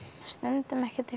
stundum ekkert